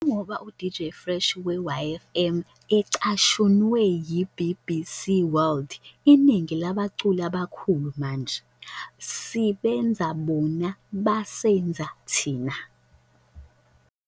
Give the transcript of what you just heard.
Njengoba uDJ Fresh we-YFM ecashunwe yi-BBC World, "Iningi labaculi abakhulu manje - sibenze bona basenza thina."